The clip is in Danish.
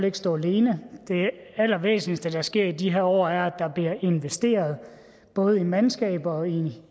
ikke stå alene det allervæsentligste der sker i de her år er at der bliver investeret både i mandskab og i